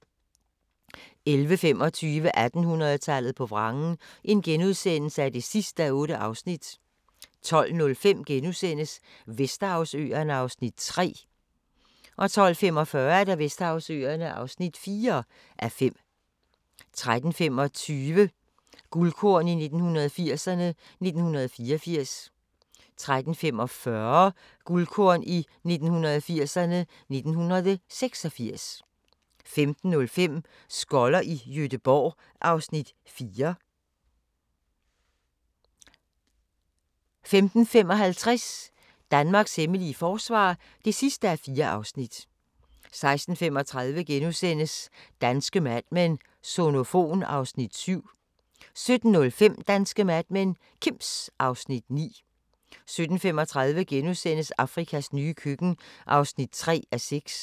11:25: 1800-tallet på vrangen (8:8)* 12:05: Vesterhavsøerne (3:5)* 12:45: Vesterhavsøerne (4:5) 13:25: Guldkorn 1980'erne: 1984 13:45: Guldkorn 1980'erne: 1986 15:05: Skoller i Gøteborg (Afs. 4) 15:55: Danmarks hemmelige forsvar (4:4) 16:35: Danske Mad Men: Sonofon (Afs. 7)* 17:05: Danske Mad Men: Kims (Afs. 9) 17:35: Afrikas nye køkken (3:6)*